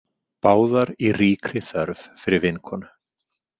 Báðar í ríkri þörf fyrir vinkonu.